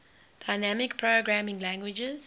dynamic programming languages